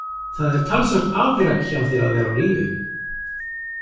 Það er talsvert afrek hjá þér að vera á lífi.